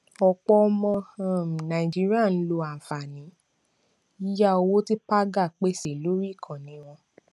ọpọ ọmọ um nàìjíríà ń lo àǹfààní yíyá owó tí paga pèsè lórí ikànnì wọn